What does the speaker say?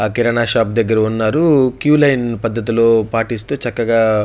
ఆ కిరానా షాప్ దగ్గర ఉన్నారు. క్యూ లైన్ పద్ధతి లో పాటిస్తూ చక్కగా --